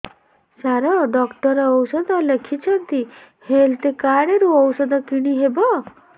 ସାର doctor ଔଷଧ ଲେଖିଛନ୍ତି health card ରୁ ଔଷଧ କିଣି ହେବ